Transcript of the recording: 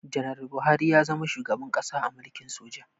Ganaral Buhari ya zama shugaban ƙasa a mulkin soja